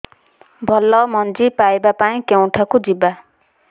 ଭଲ ମଞ୍ଜି ପାଇବା ପାଇଁ କେଉଁଠାକୁ ଯିବା